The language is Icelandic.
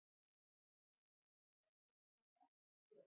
Kristján: Og þá tekur við langt hlé?